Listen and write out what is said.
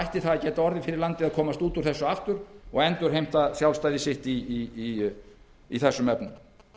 ætti það að geta orðið fyrir landið að komast út úr þessu aftur og endurheimta sjálfstæði sitt í þessum efnum